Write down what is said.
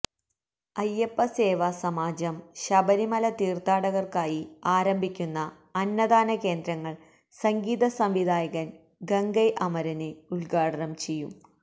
അയ്യപ്പസേവാസമാജം ശബരിമല തീര്ത്ഥാടകര്ക്കായി ആരംഭിക്കുന്ന അന്നദാന കേന്ദ്രങ്ങള് സംഗീത സംവിധായകന് ഗംഗൈഅമരന് ഉദ്ഘാടനം ചെയ്യും